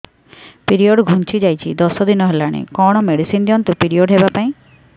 period ଘୁଞ୍ଚି ଯାଇଛି ଦଶ ଦିନ ହେଲାଣି କଅଣ ମେଡିସିନ ଦିଅନ୍ତୁ ପିରିଅଡ଼ ହଵା ପାଈଁ